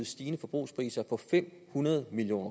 stigning i forbrugerpriserne på fem hundrede million